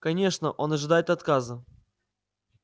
конечно он ожидает отказа